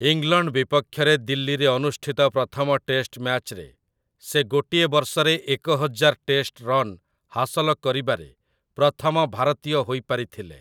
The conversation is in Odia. ଇଂଲଣ୍ଡ ବିପକ୍ଷରେ ଦିଲ୍ଲୀରେ ଅନୁଷ୍ଠିତ ପ୍ରଥମ ଟେଷ୍ଟ୍‌ ମ୍ୟାଚରେ ସେ ଗୋଟିଏ ବର୍ଷରେ ଏକହଜାର ଟେଷ୍ଟ ରନ୍ ହାସଲ କରିବାରେ ପ୍ରଥମ ଭାରତୀୟ ହୋଇପାରିଥିଲେ ।